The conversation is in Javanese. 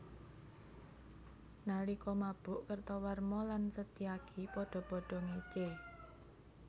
Nalika mabuk Kertawarma lan Setyaki padha padha ngécé